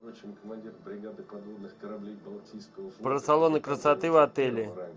про салоны красоты в отеле